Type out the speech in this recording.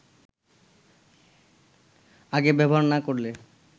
আগে ব্যবহার না করলে